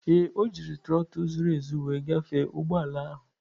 Ee, o ji trotul zuru ezu wee gafee ụgbọ ala ahụ.